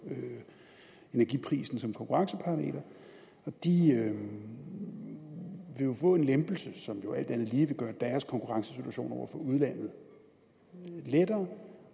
energiprisen som konkurrenceparameter de vil jo få en lempelse som alt andet lige vil gøre deres konkurrencesituation over for udlandet lettere og om